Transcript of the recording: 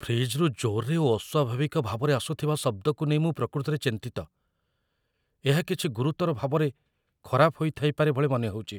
ଫ୍ରିଜ୍‌‌ରୁ ଜୋର୍‌ରେ ଓ ଅସ୍ୱାଭାବିକ ଭାବରେ ଆସୁଥିବା ଶବ୍ଦକୁ ନେଇ ମୁଁ ପ୍ରକୃତରେ ଚିନ୍ତିତ, ଏହା କିଛି ଗୁରୁତର ଭାବରେ ଖରାପ ହୋଇଥାଇପାରେ ଭଳି ମନେହେଉଛି